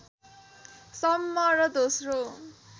सम्म र दोस्रो